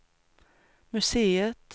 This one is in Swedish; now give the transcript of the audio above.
museet